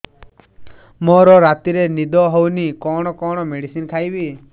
ମୋର ରାତିରେ ନିଦ ହଉନି କଣ କଣ ମେଡିସିନ ଖାଇବି